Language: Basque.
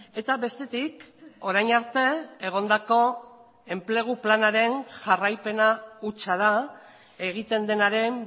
eta bestetik orain arte egondako enplegu planaren jarraipena hutsa da egiten denaren